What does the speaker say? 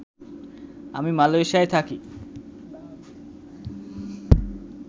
আমি মালয়েশিয়ায় থাকি